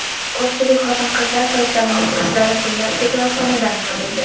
Ko‘pchilik xotin-qizlar sochlarining uchlari gullab ketayotganidan noliydi.